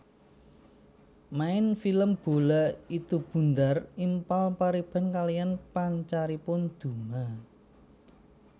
Main film Bola itu Bundar Impal Pariban kaliyan pancaripun Duma